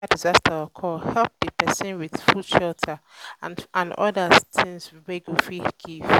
if na natural disaster occur help di persin with food shelter and oda things wey you fit give